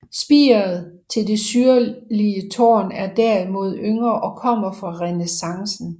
Spiret til det syrlige tårn er derimod yngre og kommer fra renæssancen